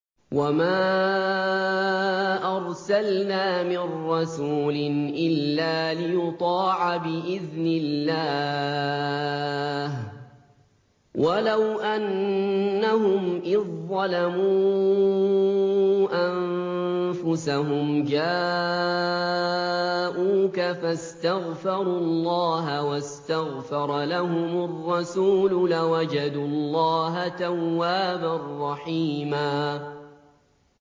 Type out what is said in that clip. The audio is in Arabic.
وَمَا أَرْسَلْنَا مِن رَّسُولٍ إِلَّا لِيُطَاعَ بِإِذْنِ اللَّهِ ۚ وَلَوْ أَنَّهُمْ إِذ ظَّلَمُوا أَنفُسَهُمْ جَاءُوكَ فَاسْتَغْفَرُوا اللَّهَ وَاسْتَغْفَرَ لَهُمُ الرَّسُولُ لَوَجَدُوا اللَّهَ تَوَّابًا رَّحِيمًا